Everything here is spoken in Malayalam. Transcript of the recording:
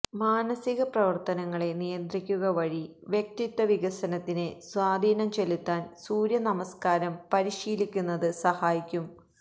മാനസിക പ്രവര്ത്തനങ്ങളെ നിയന്ത്രിക്കുക വഴി വ്യക്തിത്വ വികാസത്തില് സ്വാധീനം ചെലുത്താന് സൂര്യനമസ്ക്കാരം പരിശീലിക്കുന്നത് സഹായിക്കും